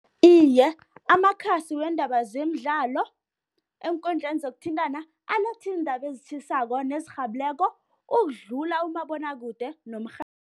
Iye, amakhasi weendaba zemidlalo eenkundleni zokuthintana aletha iindaba ezitjhisako nezirhabileko ukudlula umabonwakude